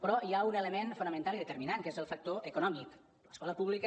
però hi ha un element fonamental i determinant que és el factor econòmic l’escola pública